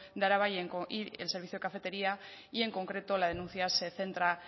de araba y el servicio cafetería y en concreto la denuncia se centra